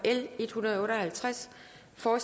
for